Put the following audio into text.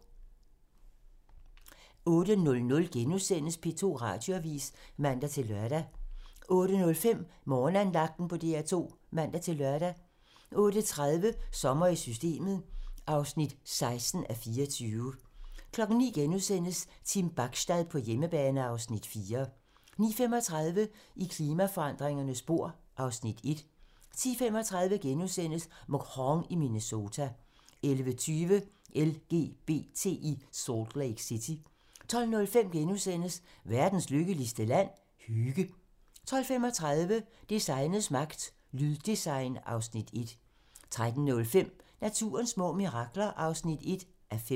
08:00: P2 Radioavis *(man-lør) 08:05: Morgenandagten på DR2 (man-lør) 08:30: Sommer i Systemet (16:24) 09:00: Team Bachstad på hjemmebane (Afs. 4)* 09:35: I klimaforandringernes spor (Afs. 1) 10:35: Mhong i Minnesota * 11:20: LGBT i Salt Lake City 12:05: Verdens lykkeligste land? - Hygge * 12:35: Designets magt - Lyddesign (Afs. 1) 13:05: Naturens små mirakler (1:5)